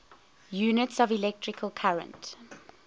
units of electrical current